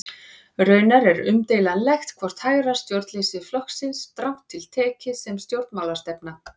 Raunar er umdeilanlegt hvort hægra stjórnleysi flokkist strangt til tekið sem stjórnmálastefna.